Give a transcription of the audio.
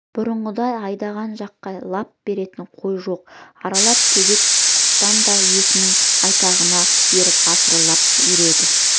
бұрынғыдай айдаған жаққа лап беретін қой жоқ арлап төбет құтпан да иесінің айтағына еріп арсылдап үреді